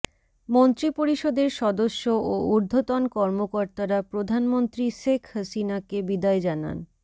মন্ত্রিপরিষদের সদস্য ও ঊর্ধ্বতন কর্মকর্তারা প্রধানমন্ত্রী শেখ হাসিনাকে বিদায় জানান